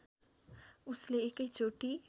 उसले एकै चोटी